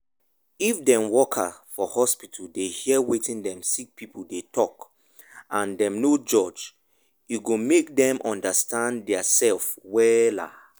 if dem worker for hospital dey hear wetin dem sick pipu dey talk and dem no judge e go make dem understand dia sef wella.